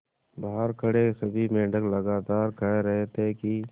बहार खड़े सभी मेंढक लगातार कह रहे थे कि